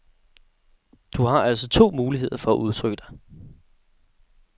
Du har altså to muligheder for at udtrykke dig.